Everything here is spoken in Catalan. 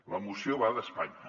la moció va d’espanya